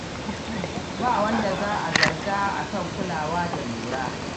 Ba wanda za a zarga a kan kulawa da lura.